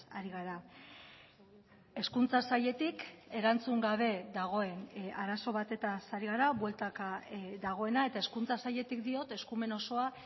ari gara hezkuntza sailetik erantzun gabe dagoen arazo batez ari gara bueltaka dagoena eta hezkuntza sailetik diot eskumen osoa